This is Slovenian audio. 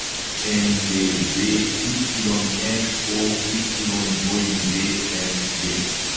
NTBYŠOYWSG